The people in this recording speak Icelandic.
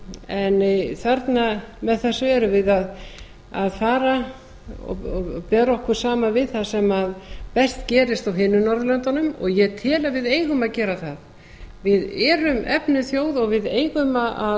en þarna með þessu erum við að fara og bera okkur saman við það sem best gerist á hinum norðurlöndunum og ég tel að við eigum að gera það við erum efnuð þjóð og við eigum